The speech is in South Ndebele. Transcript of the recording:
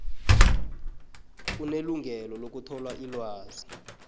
unelungelo lokuthola ilwazi